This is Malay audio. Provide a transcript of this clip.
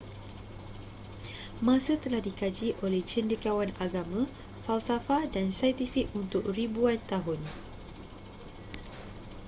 masa telah dikaji oleh cendekiawan agama falsafah dan saintifik untuk ribuan tahun